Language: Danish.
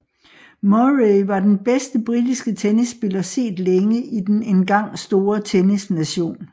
Murray var den bedste britiske tennisspiller set længe i den engang store tennisnation